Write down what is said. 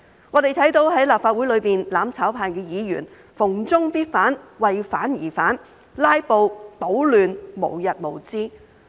我們看到在立法會裏，"攬炒派"議員逢中必反，為反而反，"拉布"、搗亂，無日無之。